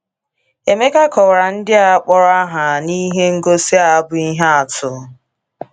Emeka kọwara ndị a kpọrọ aha n’ihe ngosi a bụ́ ihe atụ.